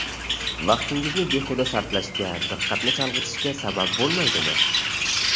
Vaqtingizni behuda sarflashga, diqqatni chalg‘itishga sabab bo‘lmaydimi?